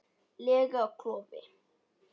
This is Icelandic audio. lega klofi.